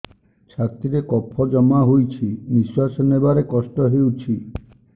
ଛାତିରେ କଫ ଜମା ହୋଇଛି ନିଶ୍ୱାସ ନେବାରେ କଷ୍ଟ ହେଉଛି